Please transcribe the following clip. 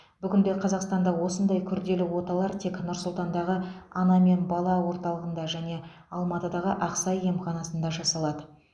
бүгінде қазақстанда осындай күрделі оталар тек нұр сұлтандағы ана мен бала орталығында және алматыдағы ақсай емханасында жасалады